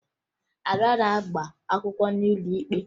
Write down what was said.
Ada na-agba akwụkwọ n'ụlọ ikpe